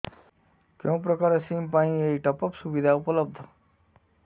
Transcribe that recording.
କେଉଁ ପ୍ରକାର ସିମ୍ ପାଇଁ ଏଇ ଟପ୍ଅପ୍ ସୁବିଧା ଉପଲବ୍ଧ